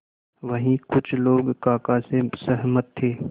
वहीं कुछ लोग काका से सहमत थे